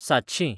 सातशीं